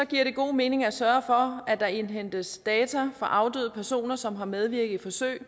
giver det god mening at sørge for at der indhentes data fra afdøde personer som har medvirket i forsøg